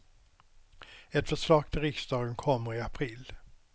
Ett förslag till riksdagen kommer i april.